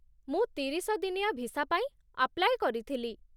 ମୁଁ ତିରିଶ ଦିନିଆ ଭିସା ପାଇଁ ଆପ୍ଲାଇ କରିଥିଲି ।